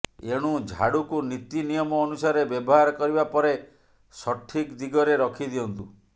ଏଣୁ ଝାଡୁକୁ ନୀତି ନିୟମ ଅନୁସାରେ ବ୍ୟବହାର କରିବା ପରେ ସଠିକ ଦିଗରେ ରଖି ଦିଅନ୍ତୁ